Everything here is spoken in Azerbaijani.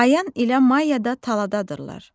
Ayan ilə Maya da taladadırlar.